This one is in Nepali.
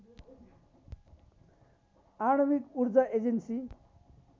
आणविक ऊर्जा एजेन्सी